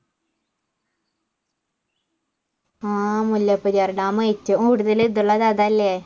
ആ മുല്ലപ്പെരിയാർ ഡാം ഏറ്റവും കൂടുതൽ ഇതുള്ളത് അതല്ലേ